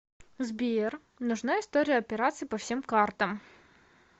сбер нужна история операций по всем картам